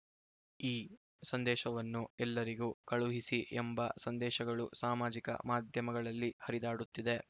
ಈ ಸಂದೇಶವನ್ನು ಎಲ್ಲರಿಗೂ ಕಳುಹಿಸಿ ಎಂಬ ಸಂದೇಶಗಳು ಸಾಮಾಜಿಕ ಮಾಧ್ಯಮಗಳಲ್ಲಿ ಹರಿದಾಡುತ್ತಿವೆ